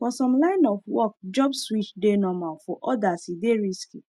for some line of work job switch dey normal for others e dey risky